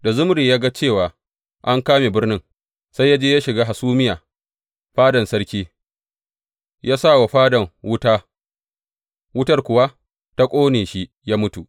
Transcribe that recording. Da Zimri ya ga cewa an kame birnin, sai ya je ya shiga hasumiya fadan sarki ya sa wa fadan wuta wutar kuwa ta ƙone shi ya mutu.